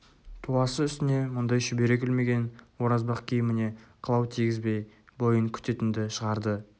туасы үстіне мұндай шүберек ілмеген оразбақ киіміне қылау тигізбей бойын күтетінді шығарды